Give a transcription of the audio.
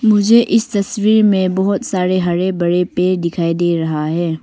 मुझे इस तस्वीर में बहुत सारे हरे भरे पेड़ दिखाई दे रहा है।